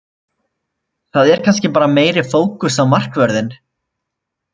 Það er kannski bara meiri fókus á markvörðinn.